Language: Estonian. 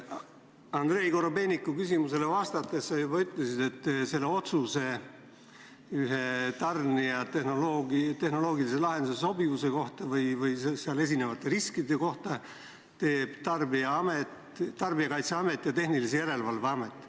Andrei Korobeiniku küsimusele vastates sa juba ütlesid, et otsuse tarnija tehnoloogilise lahenduse sobivuse kohta või selle puhul esinevate riskide kohta teeb Tarbijakaitse ja Tehnilise Järelevalve Amet.